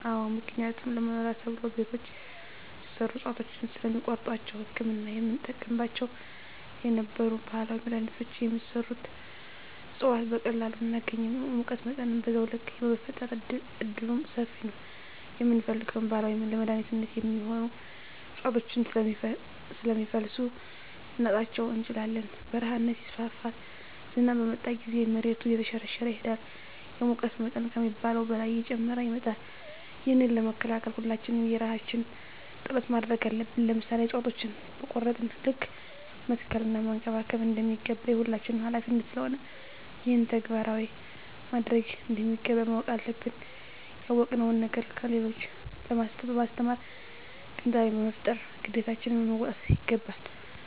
አዎ ምክንያቱም ለመኖሪያ ተብሎ ቤቶች ሲሰሩ እፅዋቶችን ስለሚቆርጧቸዉ ለህክምና የምንጠቀምባቸው የነበሩ ባህላዊ መድሀኒቶች የሚሰሩበት እፅዋት በቀላሉ አናገኝም የሙቀት መጠንም በዛዉ ልክ የመፈጠር እድሉምሰፊ ነዉ የምንፈልገዉን ባህላዊ ለመድኃኒትነት የሚሆኑ እፅዋቶችን ስለሚፈልሱ ልናጣቸዉ እንችላለን በረሀነት ይስፋፋል ዝናብ በመጣ ጊዜም መሬቱ እየተሸረሸረ ይሄዳል የሙቀት መጠን ከሚባለዉ በላይ እየጨመረ ይመጣል ይህንን ለመከላከል ሁላችንም የየራሳችን ጥረት ማድረግ አለብን ለምሳሌ እፅዋቶችን በቆረጥን ልክ መትከል እና መንከባከብ እንደሚገባ የሁላችንም ሀላፊነት ስለሆነ ይህንን ተግባራዊ ማድረግ እንደሚገባ ማወቅ አለብን ያወቅነዉን ነገር ለሌሎች በማስተማር ግንዛቤ በመፍጠር ግዴታችን መወጣት ይገባል